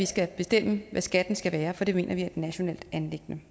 skal bestemme hvad skatten skal være for det mener vi er et nationalt anliggende